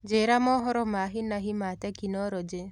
Njĩĩra mohoro ma hĩ na hĩ ma tekinoronjĩ